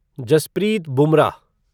Jasprit Bumrah